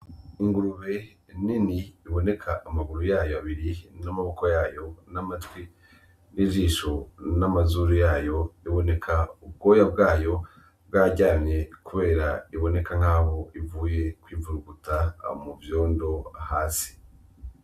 Ingurube nini iboneka amaguru yayo abiri n'amaboko yayo n'amatwi n'ijisho, n'amazuru yayo. Iboneka ubwoya bwayo bwararyamye kubera iboneka nkaho ivuye kwivuruguta mu vyondo hasi.